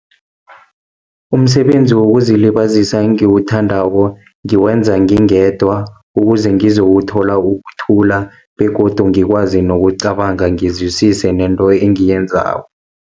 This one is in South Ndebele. Umsebenzi wokuzilibazisa engiwuthandako, ngiwenza ngingedwa, ukuze ngizowuthola ukuthula, begodu ngikwazi nokucabanga, ngizwisise nento engiyenzako.